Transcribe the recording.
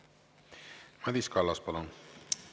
Madis Kallas, palun!